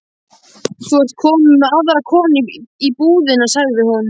Þú ert komin með aðra konu í búðina, sagði hún.